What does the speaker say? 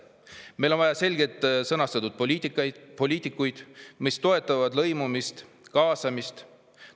Meil on vaja selgelt sõnastatud poliitikat, mis toetab lõimumist ja kaasamist.